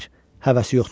Həvəsi yoxdur.